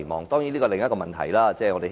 當然，這是另一個問題。